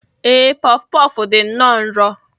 Ee, puff puff dị nnọọ nro